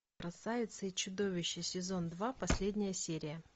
красавица и чудовище сезон два последняя серия